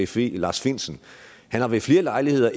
fe lars findsen ved flere lejligheder